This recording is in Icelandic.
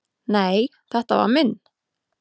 """Nei, þetta var minn"""